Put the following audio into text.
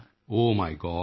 ਓਹ my God